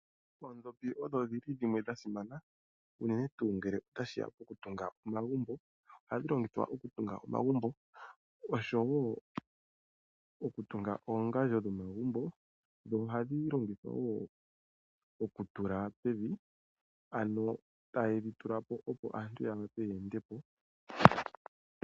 Oondhopi odho dhi li dhimwe dha simana, unene tuu ngele otashi ya pokutunga omagumbo. Ohadhi longithwa okutunga omagumbo noshowo okutunga oongandjo dhomagumbo, dho ohadhi longithwa wo okutula pevi, ano taye dhi tula po, opo aantu ya vule ye ende po.